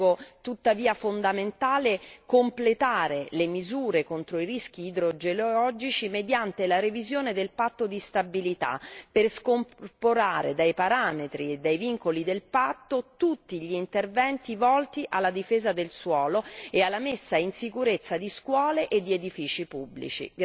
Ritengo tuttavia fondamentale completare le misure contro i rischi idrogeologici mediante la revisione del patto di stabilità, per scorporare dai parametri e dai vincoli del patto tutti gli interventi volti alla difesa del suolo e alla messa in sicurezza di scuole e di edifici pubblici.